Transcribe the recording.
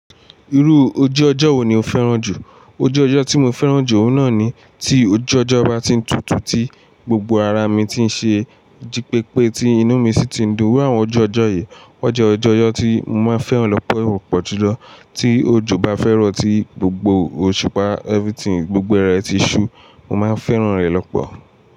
Irú ojú ọjọ́ wo ni o fẹ́ràn jù? Ojú ọjọ́ tí mo fẹ́ràn jù, òun náà ni tí ojú ọjọ́ bá ti ń tutù, tí gbogbo ara mi ti ń ṣe jípépe, tí inú mi sì ti ń dùn. Awọn ojú ọjọ́ yìí, wọ́n jẹ́ ojú ọjọ́ tí mo máa ń fẹ́ràn lọ́pọ̀ pọ́jù lọ. Tí òjò bá fẹ́ràn, tí gbogbo òṣùpá, everything, gbogbo ẹrẹ̀ ti ṣú, mo máa ń fẹ́ràn rẹ̀ lọ́pọ̀.